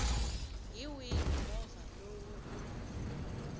hi wihi movha lowu u